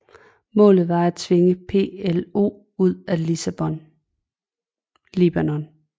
Målet var at tvinge PLO ud af Libanon